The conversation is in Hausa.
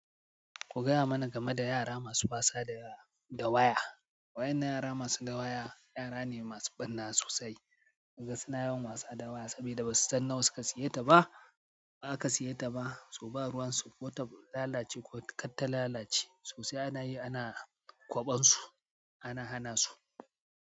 Ku gayamana game da yara masu batsa da yewa, da waya. Waƴannan yara masu dawaya, yara ne masu ɓarna sosai. Naga suna yawan wasa da waya saboda basu san nawa suka saye ta ba, ba aka saye ta ba, so ba ruwan su kota lalace ko karta lalace. So sai ana yi, ana kwaɓansu, ana hana su.